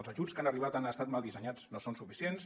els ajuts que han arribat han estat mal dissenyats no són suficients